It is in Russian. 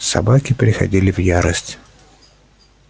собаки приходили в ярость